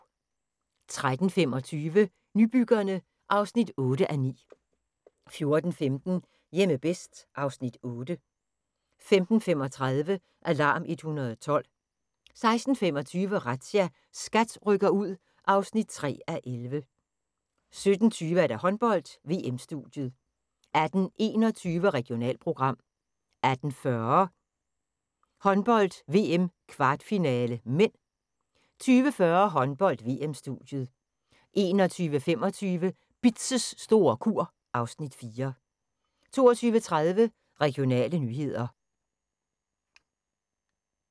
13:25: Nybyggerne (8:9) 14:15: Hjemme bedst (Afs. 8) 15:35: Alarm 112 16:25: Razzia – SKAT rykker ud (3:11) 17:20: Håndbold: VM-studiet 18:21: Regionalprogram 18:40: Håndbold: VM - kvartfinale (m) 20:40: Håndbold: VM-studiet 21:25: Bitz' store kur (Afs. 4) 22:30: Regionale nyheder